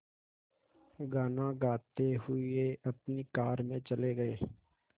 गाना गाते हुए अपनी कार में चले गए